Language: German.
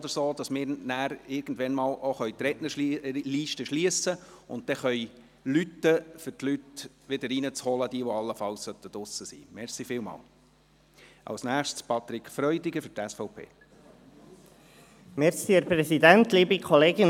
Wir möchten die Rednerliste schliessen und rechtzeitig klingeln, damit diejenigen Leute, die allenfalls gerade draussen sind, hereinkommen können.